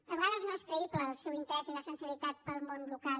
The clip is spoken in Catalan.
a vegades no són creïbles el seu interès i la sensibilitat pel món local